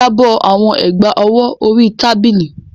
Drop the bangles on the table